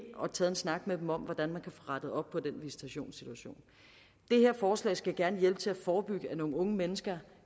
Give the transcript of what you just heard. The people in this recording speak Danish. og taget en snak med dem om hvordan man kan få rettet op på den visitationssituation det her forslag skal gerne hjælpe til at forebygge at nogle unge mennesker